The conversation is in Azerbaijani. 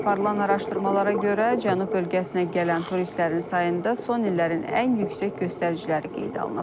Aparılan araşdırmalara görə cənub bölgəsinə gələn turistlərin sayında son illərin ən yüksək göstəriciləri qeydə alınıb.